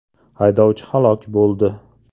Haydovchi halok bo‘ldi.